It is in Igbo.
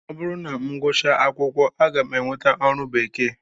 Ọ bụrụ na m gụchaa akwụkwọ, aga m enweta ọrụ bekee